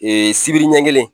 sibiri ɲɛ kelen.